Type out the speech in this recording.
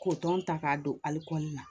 K'o tɔn ta k'a don ali kɔnɔna na